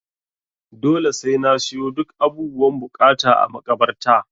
Dole sai na siyo duk abubuwan buƙata a makabarta.